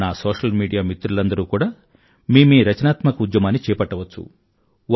నా social media మిత్రులందరూ కూడా మీ మీ రచనాత్మక ఉద్యమాన్ని చేపట్టవచ్చు